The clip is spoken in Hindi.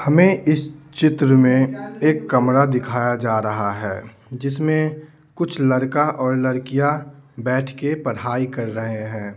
हमें इस चित्र में एक कमरा दिखाया जा रहा है जिसमें कुछ लड़का और लड़कियां बैठ के पढ़ाई कर रहे हैं।